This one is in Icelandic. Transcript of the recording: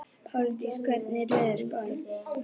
Páldís, hvernig er veðurspáin?